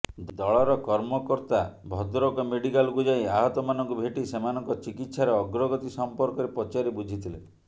ଦଳର କର୍ମକର୍ତ୍ତା ଭଦ୍ରକ ମେଡିକାଲକୁ ଯାଇ ଆହତମାନଙ୍କୁ ଭେଟି ସେମାନଙ୍କ ଚିକିତ୍ସାର ଅଗ୍ରଗତି ସଂପର୍କରେ ପଚାରି ବୁଝିଥିଲେ